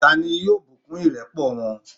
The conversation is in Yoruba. ta ni yóò bùkún ìrẹ́pọ̀ wọn?